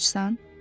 Açsan?